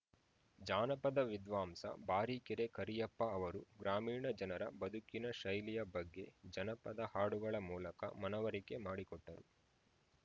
ಜಾನಪದ ವಿದ್ವಾಂಸ ಬಾರಿಕೆರೆ ಕರಿಯಪ್ಪ ಅವರು ಗ್ರಾಮೀಣ ಜನರ ಬದುಕಿನ ಶೈಲಿಯ ಬಗ್ಗೆ ಜನಪದ ಹಾಡುಗಳ ಮೂಲಕ ಮನವರಿಕೆ ಮಾಡಿಕೊಟ್ಟರು